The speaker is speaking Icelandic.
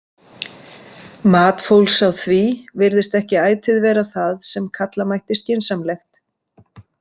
Mat fólks á því virðist ekki ætíð vera það sem kalla mætti skynsamlegt.